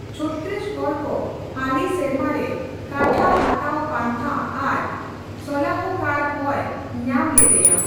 ᱪᱷᱚᱛᱛᱤᱥᱜᱚᱲ ᱠᱚ ᱦᱟᱹᱞᱤ ᱥᱮᱨᱢᱟ ᱨᱮ ᱠᱟᱴᱷᱟ ᱦᱟᱛᱟᱣ ᱯᱟᱱᱛᱷᱟ ᱟᱨ ᱥᱚᱞᱟᱦᱠᱟᱨ ᱦᱚᱸᱭ ᱧᱟᱢ ᱞᱮᱫᱮᱭᱟ ᱾